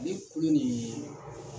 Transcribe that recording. Ale kulu nin